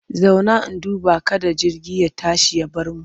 Zauna! in duba kada jirgi ya tashi ya bar mu.